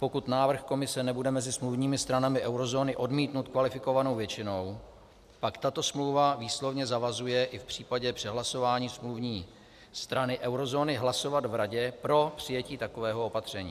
Pokud návrh Komise nebude mezi smluvními stranami eurozóny odmítnut kvalifikovanou většinou, pak tato smlouva výslovně zavazuje i v případě přehlasování smluvní strany eurozóny hlasovat v Radě pro přijetí takového opatření.